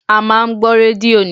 A máa ń gbọ́ rédíò ni